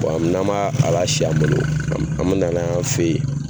n'an m'a a lasi an bolo an mɛ na n'a ye an fɛ yen.